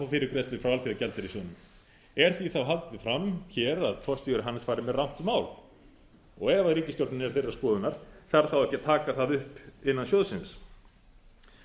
fyrirgreiðslu frá alþjóðagjaldeyrissjóðnum er því þá haldið fram hér að forstjóri hans fari með rangt mál ef ríkisstjórnin er þeirrar skoðunar þarf þá ekki að taka það upp innan sjóðsins